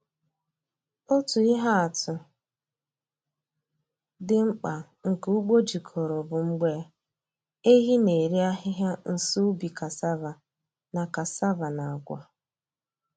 Otu ihe atụ dị mkpa nke ugbo jikọrọ bụ mgbe ehi na-eri ahịhịa nso ubi cassava na cassava na agwa.